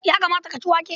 Ya kamata ka ci wake.